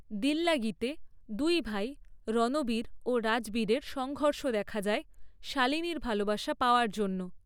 দিল্লাগিতে দুই ভাই রণবীর ও রাজবীরের সংঘর্ষ দেখা যায়, শালিনীর ভালবাসা পাওয়ার জন্য।